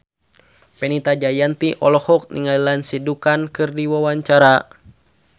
Fenita Jayanti olohok ningali Lindsay Ducan keur diwawancara